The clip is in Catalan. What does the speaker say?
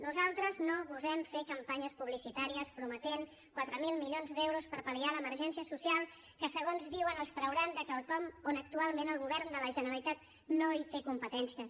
nosaltres no gosem fer campanyes publicitàries prometent quatre mil milions d’euros per pal·liar l’emergència social que segons diuen els trauran de quelcom on actualment el govern de la generalitat no hi té competències